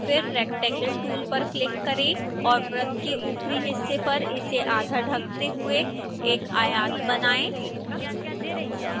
फिर rectangle tool पर click करें और वृत्त के ऊपरी हिस्से पर इसे आधा ढकते हुए एक आयात बनाएँ